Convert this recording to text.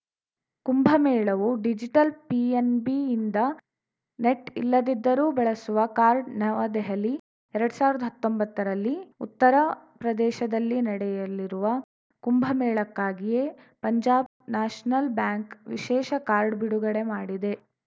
ಕುಂಭಮೇಳವೂ digital ಪಿಎನ್‌ಬಿಯಿಂದ net ಇಲ್ಲದಿದ್ರೂ ಬಳಸುವ ಕಾರ್ಡ್‌ ನವದೆಹಲಿ ಎರಡ್ ಸಾವಿರ್ದ ಹತ್ತೊಂಬತ್ತರಲ್ಲಿ ಉತ್ತರ ಪ್ರದೇಶದಲ್ಲಿ ನಡೆಯಲಿರುವ ಕುಂಭಮೇಳಕ್ಕಾಗಿಯೇ ಪಂಜಾಬ್‌ ನ್ಯಾಷನಲ್‌ ಬ್ಯಾಂಕ್‌ ವಿಶೇಷ ಕಾರ್ಡ್‌ ಬಿಡುಗಡೆ ಮಾಡಿದೆ